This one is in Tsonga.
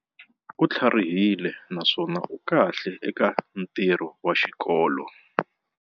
U tlharihile naswona u kahle eka ntirho wa xikolo.